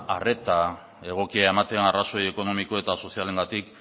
arreta egokia ematen arrazoi ekonomiko eta sozialengatik